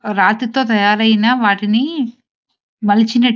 రాతి తో తయారైన వాటిని మలిచినట్టు--